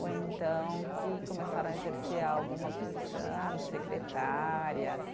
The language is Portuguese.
Ou então que começaram a exercer alguma profissão, secretárias.